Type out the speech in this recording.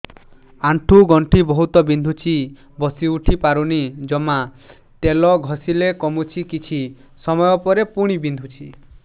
ଆଣ୍ଠୁଗଣ୍ଠି ବହୁତ ବିନ୍ଧୁଛି ବସିଉଠି ପାରୁନି ଜମା ତେଲ ଘଷିଲେ କମୁଛି କିଛି ସମୟ ପରେ ପୁଣି ବିନ୍ଧୁଛି